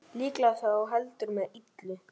Líklega þó heldur með illu.